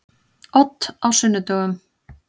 Odd á sunnudögum.